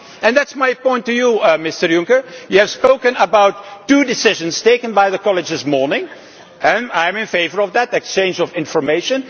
That is my point to you, Mr Juncker. You have spoken about two decisions taken by the College this morning and I am in favour of that exchange of information.